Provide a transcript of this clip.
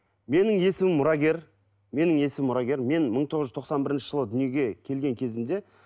менің есімім мұрагер менің есімім мұрагер мен мың тоғыз жүз тоқсан бірінші жылы дүиеге келген кезімде